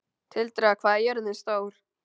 Tildra, hvað er jörðin stór?